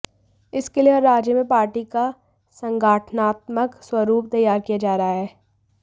इसके लिए हर राज्य में पार्टी का संगठनात्मक स्वरुप तैयार किया जा रहा है